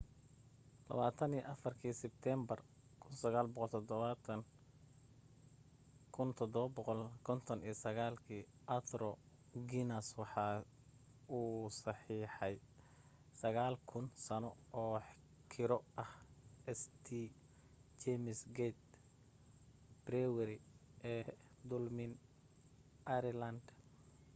24-ki sebtembar 1759 arthur guinness waxa uu saxiixey 9,000 sano oo kiro ah st james' gate brewery ee dublin ireland